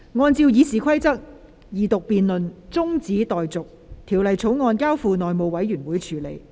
按照《議事規則》，二讀辯論中止待續，《條例草案》交付內務委員會處理。